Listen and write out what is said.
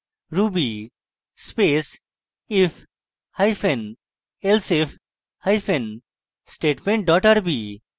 ruby space if hyphen elsif hyphen statement dot rb